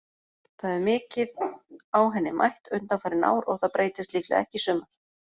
Það hefur mikið á henni mætt undanfarin ár og það breytist líklega ekki í sumar.